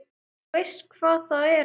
Þú veist hvar það er?